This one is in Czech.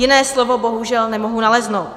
Jiné slovo bohužel nemohu naleznout.